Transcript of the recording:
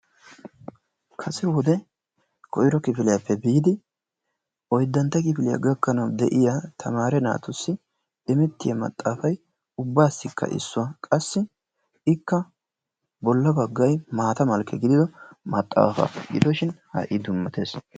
Kase wode koyro kifiliyappe biidi oyddantta kifiliya gakkanawu de'iyaa tamaare naatussi immetiya maaxafay ubbaasikka issuwaa qassi ikka bolla baggay maata malkke gidida maxaafa, gidoshin ha''i dummatees.